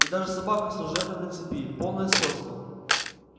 и даже собака служебная на цепи полное сходство